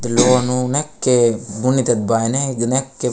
द लोनू नेके बुनित बाय ने दे नेक्के।